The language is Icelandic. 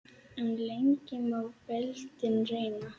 En lengi má beltin reyna.